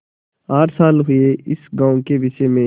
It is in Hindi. आठ साल हुए इस गॉँव के विषय में